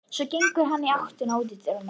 Svo gengur hann í áttina að útidyrunum.